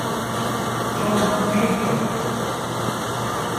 джон хьюстон